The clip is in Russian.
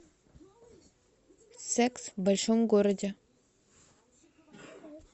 секс в большом городе